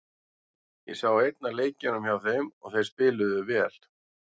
Ég sá einn af leikjunum hjá þeim og þeir spiluðu vel.